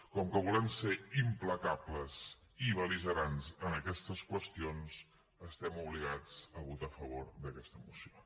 com que volem ser implacables i bel·ligerants en aquestes qüestions estem obligats a votar a favor d’aquesta moció